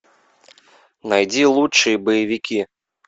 найди лучшие боевики